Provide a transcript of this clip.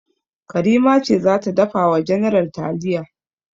Karima ce za ta dafa wa general taliya.